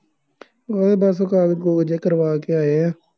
ਉਹਦੇ ਬੱਸ ਕਾਗਜ਼ ਕੂਗਜ਼ ਜਿਹੇ ਕਰਵਾ ਕੇ ਆਏ ਹਾਂ।